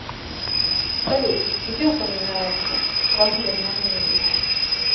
салют где упоминается пангерманизм